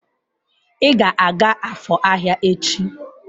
Ị ga-aga Afor ahịa echi!